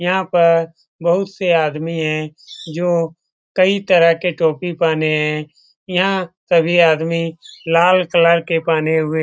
यहाँ पर बहुत से आदमी है जो कई तरह के टोपी पहने हैं यहाँ सभी आदमी लाल कलर के पहने हुए --